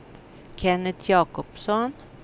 Kenneth Jakobsson